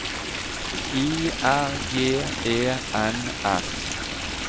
I R G E N S